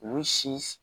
U si